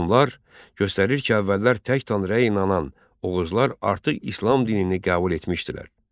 Onlar göstərir ki, əvvəllər tək Tanrıya inanan Oğuzlar artıq İslam dinini qəbul etmişdilər.